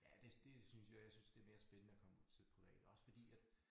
Ja det det synes jeg jeg synes det mere spændende at komme ud til private også fordi at